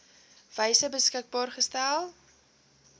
wyse beskikbaar gestel